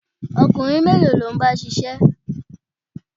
Ọkùnrin mélòó ló ń bá ṣiṣẹ́?